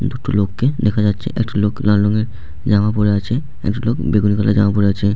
দুটো লোককে দেখা যাচ্ছে একটা লোক লাল রঙের জামা পরে আছে |একটা লোক বেগুনি কালার জামা পরে আছে।